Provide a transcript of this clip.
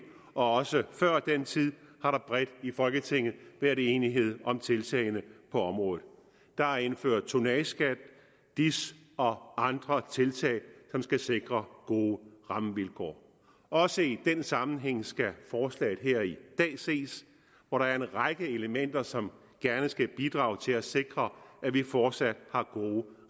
og også før den tid har der bredt i folketinget været enighed om tiltagene på området der er indført tonnageskat dis og andre tiltag som skal sikre gode rammevilkår også i den sammenhæng skal forslaget her i dag ses hvor der er en række elementer som gerne skal bidrage til at sikre at vi fortsat har gode